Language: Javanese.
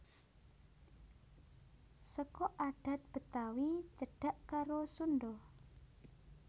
Seka adhat Betawi cedhak karo Sundha